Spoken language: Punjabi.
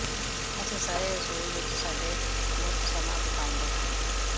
ਅਸੀਂ ਸਾਰੇ ਰਸੋਈ ਵਿਚ ਸਾਡੇ ਮੁਫਤ ਸਮਾਂ ਬਿਤਾਉਂਦੇ ਹਾਂ